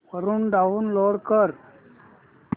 वरून डाऊनलोड कर